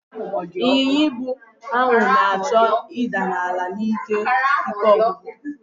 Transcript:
Ịnyinya ibu ahụ na-achọ ịda n'ala n'ihi ike ọgwụgwụ.